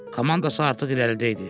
Komandası artıq irəlidə idi.